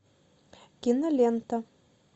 кинолента